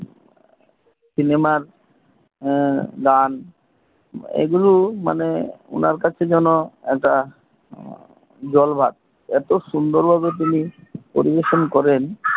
সিনেমার গান গুলো আপনার কাছে যেন জলভাত এত সুন্দর ভাবে উনি পরিবেশন করেন